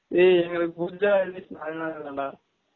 லை எங்கலுக்கு pooja holidays நாலு நால் தான் டா